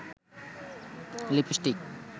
lipstick